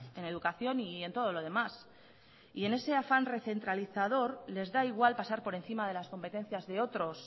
en educación y en todo lo demás y en ese afán recentralizador les da igual pasar por encima de las competencias de otros